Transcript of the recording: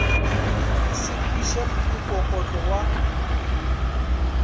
o se kweše mokokotlo wa